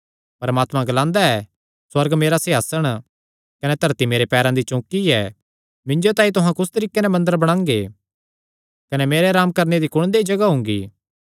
परमात्मा ग्लांदा ऐ सुअर्ग मेरा सिंहासण कने धरती मेरे पैरां दी चौकी ऐ मिन्जो तांई तुहां कुस तरीके दा मंदर बणांगे कने मेरे अराम करणे दी कुण देई जगाह हुंगी